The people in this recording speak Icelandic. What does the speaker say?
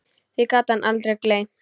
Því gat hann aldrei gleymt.